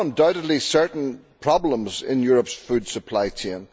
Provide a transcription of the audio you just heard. There are undoubtedly certain problems in Europe's food supply chain.